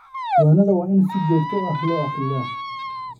Diiwaanada waa in si joogto ah loo akhriyaa.